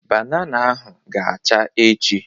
Banana ahụ ga-acha echi.